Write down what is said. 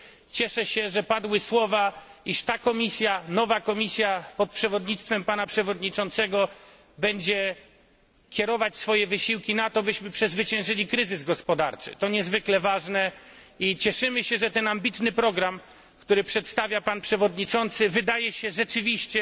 Cieszę się, że padły słowa, iż ta Komisja, nowa Komisja pod przewodnictwem pana przewodniczącego będzie kierować swoje wysiłki na to, byśmy przezwyciężyli kryzys gospodarczy. To niezwykle ważne i cieszymy się, że ten ambitny program, który przedstawia pan przewodniczący wydaje się rzeczywiście